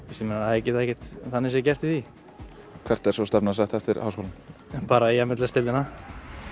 þeir geta ekkert þannig séð gert í því hvert er svo stefnan sett eftir háskólann bara í m l s deildina